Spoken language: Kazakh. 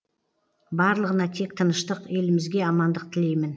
барлығына тек тыныштық елімізге амандық тілеймін